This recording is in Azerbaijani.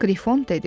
Qrifon dedi: